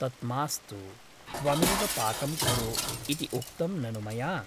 तत् मास्तु , त्वमेव पाकं कुरु इति उक्तं ननु मया ?